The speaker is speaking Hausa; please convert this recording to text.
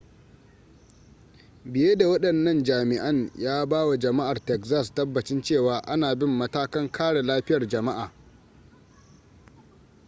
biye da wadannan jami'an ya ba wa jama'ar texas tabbacin cewa ana bin matakan kare lafiyar jama'a